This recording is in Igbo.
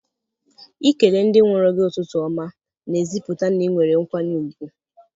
Ikele ndị nwụrụ gị ụtụtụ ọma n'ezipụta n'inwere nkwanye ùgwù.